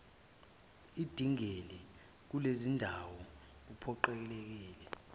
edingela kulezindawo uphoqelekile